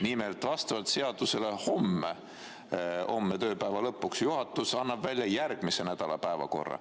Nimelt, vastavalt seadusele, homme tööpäeva lõpuks juhatus annab välja järgmise nädala päevakorra.